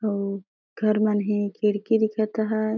अऊ घर मन हे खिड़की दिखत हैं।